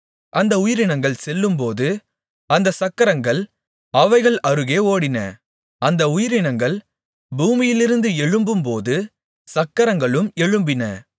அந்த உயிரினங்கள் செல்லும்போது அந்தச் சக்கரங்கள் அவைகள் அருகே ஓடின அந்த உயிரினங்கள் பூமியிலிருந்து எழும்பும்போது சக்கரங்களும் எழும்பின